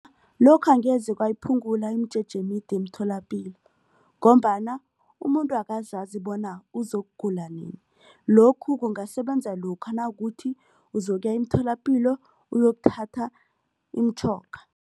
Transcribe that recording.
Lokho angeze kwayiphungula imijeje emide emtholapilo ngombana umuntu akazazi bona uzokugula nini. Lokhu kungasebenza lokha nakuthi uzokuya emtholapilo uyokuthatha imitjhoga.